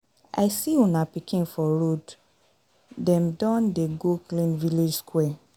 I see una pikin for road, dem don dey go clean village square.